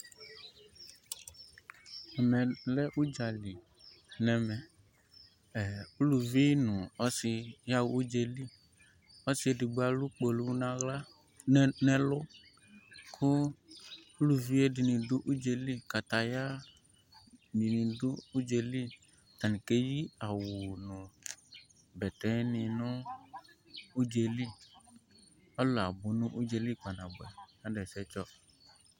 Ɛmɛ lɛ udza lɩ n'ɛmɛ Ɛ uluvɩ nu ɔsi ya ɣ'udze lɩ Ɔsi edigbo alu kpolu n'aɣla nɛ n'ɛlu ku uluvie dini du udz'elɩ Kataya dini du udz'elɩ Atani keyi awu nu bɛtɛ ni nu udze lɩ Alu abu nu udze lɩ kpa 'nabuɛ nadu ɛsɛ tsɔ